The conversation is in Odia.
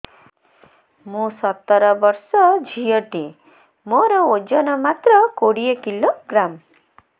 ମୁଁ ସତର ବର୍ଷ ଝିଅ ଟେ ମୋର ଓଜନ ମାତ୍ର କୋଡ଼ିଏ କିଲୋଗ୍ରାମ